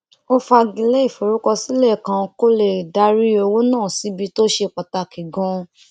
ó fagilé ìforúkọsílẹ kan kó lè darí owó náà síbi tó ṣe pàtàkì ganan